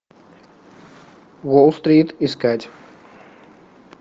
уолл стрит искать